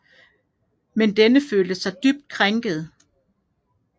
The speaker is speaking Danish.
Men denne følte sig dybt krænket